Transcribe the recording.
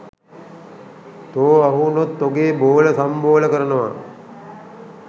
තෝ අහුවුනොත් තොගේ බෝල සම්බෝල කරනව